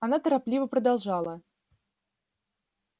она торопливо продолжала